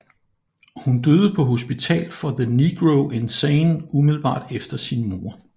Hun døde på Hospital for the Negro Insane umiddelbart efter sin mor